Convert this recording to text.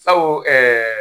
Sabu ɛɛ